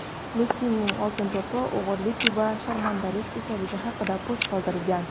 Messining "Oltin to‘p"i "o‘g‘irlik va sharmandalik" ekanligi haqida post qoldirilgan.